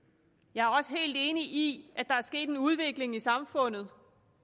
jeg er også helt enig i at der er sket en udvikling i samfundet